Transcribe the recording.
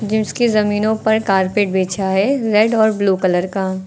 जिस की जमीनों पर कारपेट बिछा है रेड और ब्लू कलर का।